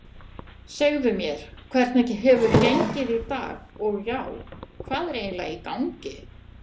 Segðu mér, hvernig hefur gengið í dag og já, hvað er eiginlega í gangi?